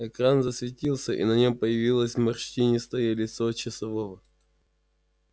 экран засветился и на нем появилось морщинистое лицо часового